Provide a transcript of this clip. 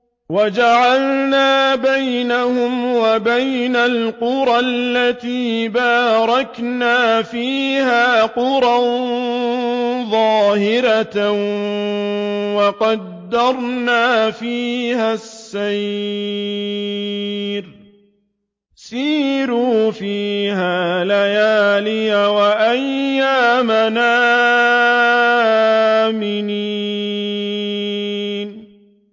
وَجَعَلْنَا بَيْنَهُمْ وَبَيْنَ الْقُرَى الَّتِي بَارَكْنَا فِيهَا قُرًى ظَاهِرَةً وَقَدَّرْنَا فِيهَا السَّيْرَ ۖ سِيرُوا فِيهَا لَيَالِيَ وَأَيَّامًا آمِنِينَ